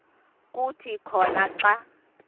kuthi khona xa